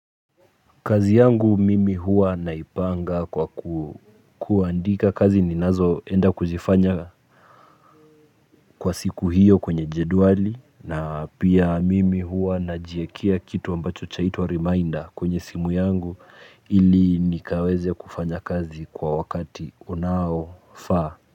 Kazi yangu mimi huwa naipanga kwa kuandika kazi ninazo enda kuzifanya kwa siku hiyo kwenye jedwali na pia mimi huwa najiekea kitu ambacho chaitwa reminder kwenye simu yangu ili nikaweze kufanya kazi kwa wakati unaofaa.